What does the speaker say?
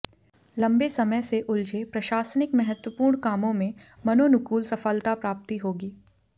लम्बे समय से उलझे प्रशासनिक महत्वपूर्ण कामों में मनोनुकूल सफलता प्राप्ति होगी